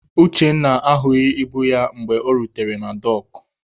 Uchenna ahụghị ibu ya mgbe o rutere na dọọkụ.